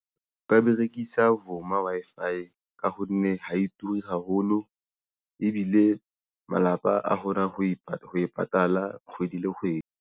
O ka berekisa Vuma Wi-Fi ka ho nne ha e turi haholo ebile malapa a kgona ho e patala ho e patala kgwedi le kgwedi